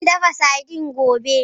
Zan dafa sardine gobe.